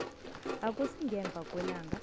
akusi ngemva kwelanga